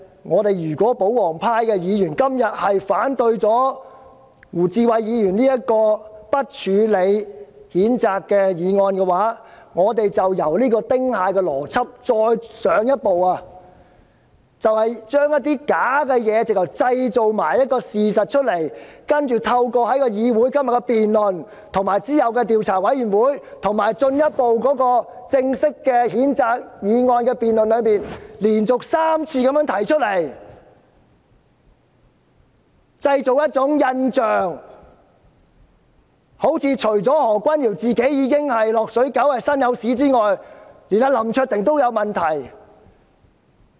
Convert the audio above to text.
然而，如果保皇派議員今天反對胡志偉議員提出的"不處理譴責"議案，便是比"丁蟹邏輯"更進一步，將虛假的事情包裝成事實，利用議會今天的辯論、其後的調查委員會，以及再之後的正式譴責議案辯論，連續3次製造假象，彷彿除了何君堯議員是"落水狗"、"身有屎"之外，連林卓廷議員也有問題。